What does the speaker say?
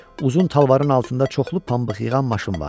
Uzun talvarın altında çoxlu pambıq yığan maşın vardı.